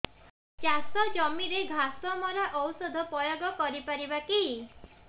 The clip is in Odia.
ଚାଷ ଜମିରେ ଘାସ ମରା ଔଷଧ ପ୍ରୟୋଗ କରି ପାରିବା କି